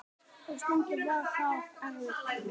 Og stundum var það erfitt.